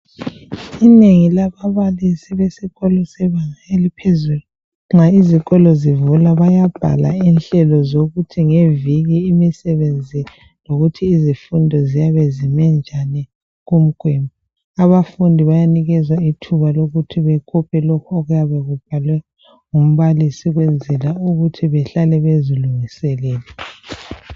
Inengi lababalisi besikolo sebanga eliphezulu nxa izikolo zivulwa bayabhala inhlelo zokuthi ngeviki imisebenzi lokuthi izifundo ziyabe ziminjani kumke. Abafundi bayanikea ithuba lokuthi bakope lokhu okuyabe kubhalwe ngumbalisi ukwenzela ukuthi bahlale bezilunguselele.